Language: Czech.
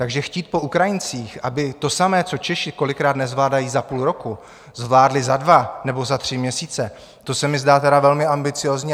Takže chtít po Ukrajincích, aby to samé, co Češi kolikrát nezvládají za půl roku, zvládli za dva nebo za tři měsíce, to se mi zdá tedy velmi ambiciózní.